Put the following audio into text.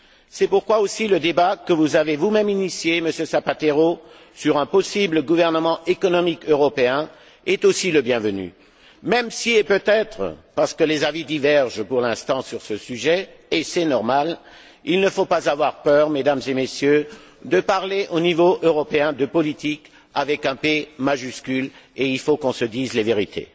C'est pourquoi le débat que vous avez vous même lancé, Monsieur Zapatero, sur un possible gouvernement économique européen est aussi le bienvenu, même si, et peut être parce que les avis divergent pour l'instant sur ce sujet et c'est normal, il ne faut pas avoir peur, Mesdames et Messieurs, de parler au niveau européen de politique avec un P majuscule, et il faut qu'on se dise les vérités.